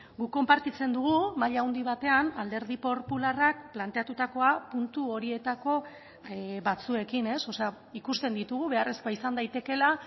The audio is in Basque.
guk konpartitzen dugu maila handi batean alderdi popularrak planteatutakoa puntu horietako batzuekin ikusten ditugu beharrezkoa izan daitekeela